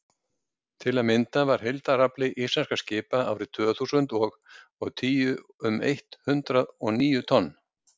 til að mynda var heildarafli íslenskra skipa árið tvö þúsund og og tíu um eitt hundruð og níu tonn